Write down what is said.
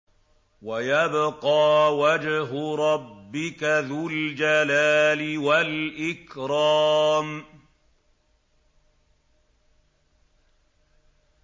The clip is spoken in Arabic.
وَيَبْقَىٰ وَجْهُ رَبِّكَ ذُو الْجَلَالِ وَالْإِكْرَامِ